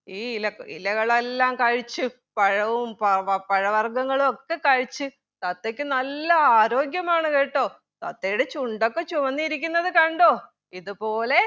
ഈ ഇല ഇലകളെല്ലാം കഴിച്ച് പഴവും പ പഴവർഗ്ഗങ്ങളൊക്കെ കഴിച്ച് തത്തയ്ക്ക് നല്ല ആരോഗ്യമാണ് കേട്ടോ തത്തയുടെ ചുണ്ടൊക്കെ ചുവന്നിരിക്കുന്നത് കണ്ടോ ഇത് പോലെ